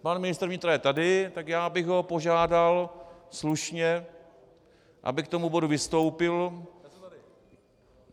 Pan ministr vnitra je tady, tak já bych ho požádal slušně, aby k tomu bodu vystoupil.